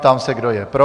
Ptám se, kdo je pro.